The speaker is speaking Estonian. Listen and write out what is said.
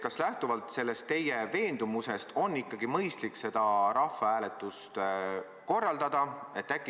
Kas lähtuvalt sellest teie veendumusest on ikkagi mõistlik seda rahvahääletust korraldada?